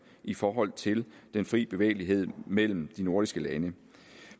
i forhold til den frie bevægelighed mellem de nordiske lande